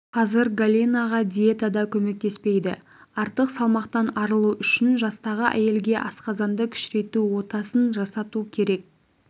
қазір галинаға диета да көмектеспейді артық салмақтан арылу үшін жастағы әйелге асқазанды кішірейту отасын жасату керек